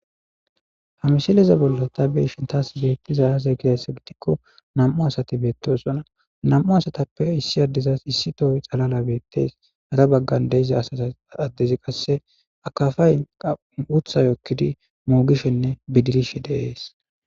Hamsheleza bolla ta beshin taas beettiza aaza gidassa gidikko namu asati beettosona nam7u asatappe issi addizas issi toy xalala beettes ara baggan deiza asata addezi qasse akafa yn wutha yokkidi moogishenne bidirishe deees